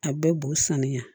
A bɛ b'u sanuya